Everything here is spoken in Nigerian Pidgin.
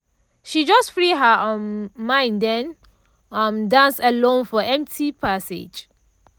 she just free her um mind den um dance alone for empty passage.